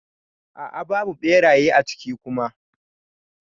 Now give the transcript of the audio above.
A'a babu beraye a ciki Kuma.